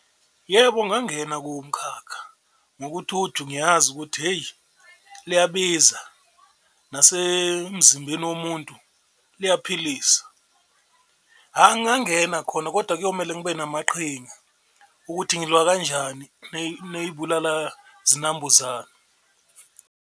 Yebo, ngangena kuwo umkhakha ngokuthi uju ngiyazi ukuthi hheyi liyabiza nasemzimbeni womuntu liyaphilisa, hha ngangena khona kodwa kuyomele ngibe namaqhinga ukuthi ngilwa kanjani ney'bulala-zinambuzane.